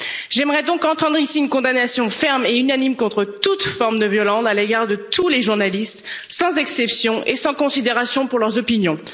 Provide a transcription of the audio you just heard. J'aimerais donc entendre ici une condamnation ferme et unanime contre toute forme de violence à l'égard de tous les journalistes, sans exception et sans considération pour leurs opinions.